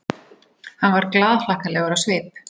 Hann var glaðhlakkalegur á svip.